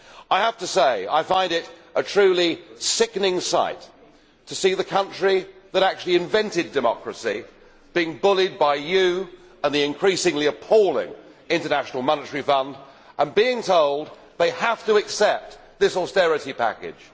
I have to say I find it a truly sickening sight to see the country that actually invented democracy being bullied by you and the increasingly appalling International Monetary Fund and its people being told they have to accept this austerity package.